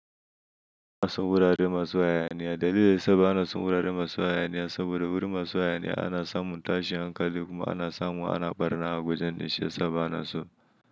Son wurare masu hayaniya. Dalili da yasa bana son wurare masu hayaniya saboda wurin masu hayaniya ana samun tashin hankali kuma ana samu ana ɓarna a wajen dai shi ya sa bana so.